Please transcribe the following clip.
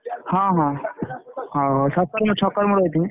ହଁ ହଁ ସତରେ ମୁଁ ଛକ ରେ ମୁଁ ରହିଥିବୀ।